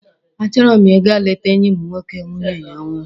A chọrọ m ị ga lete enyị m nwoke nwunye ya nwụrụ.